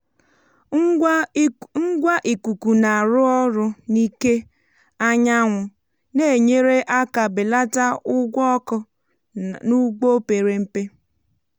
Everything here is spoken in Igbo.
ngwa ikuku na-arụ ọrụ n’ike anyanwụ na-enyere um aka belata ụgwọ ọkụ n’ugbo pere mpe.